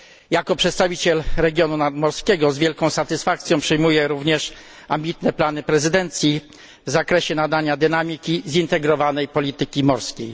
Jako przedstawiciel regionu nadmorskiego z wielką satysfakcją przyjmuję również ambitne plany prezydencji w zakresie pobudzenia zintegrowanej polityki morskiej.